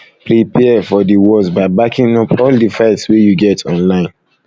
prepare um for di worse by backing up all di files wey you get online